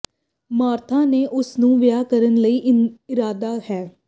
Martha ਨੇ ਉਸ ਨੂੰ ਵਿਆਹ ਕਰਨ ਲਈ ਇਰਾਦਾ ਹੈ